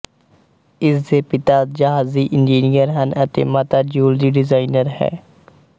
ਇਸਦੇ ਪਿਤਾ ਜਹਾਜ਼ੀ ਇੰਜੀਨੀਅਰ ਹਨ ਅਤੇ ਮਾਤਾ ਜਿਊਲਰੀ ਡਿਜ਼ਾਇਨਰ ਹੈ